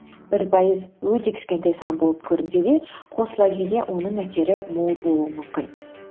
бір пайыз өте кішкентай сан болып көрінсе де қосыла келе оның әсері мол болуы мүмкін